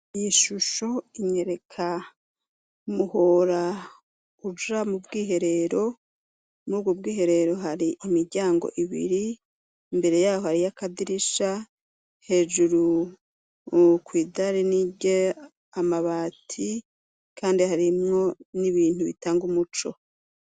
Iyi shusho inyereka umuhora uja mu bwiherero muri ubwo bwiherero hari imiryango ibiri imbere yaho hariyo akadirisha hejuru uku idari nige amabati kandi harimwo n'ibintu bitanga umuco.